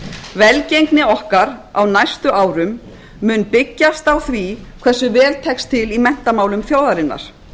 velgengni okkar á næstu árum mun byggjast á því hversu vel tekst til í menntamálum þjóðarinnar